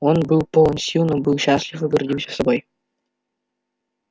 он был полон сил но был счастлив и гордился собой